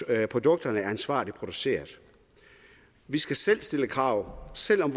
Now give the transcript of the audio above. at produkterne er ansvarligt produceret vi skal selv stille krav selv om